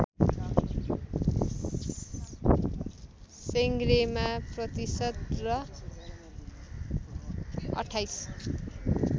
सेंग्रेमा प्रतिशत र २८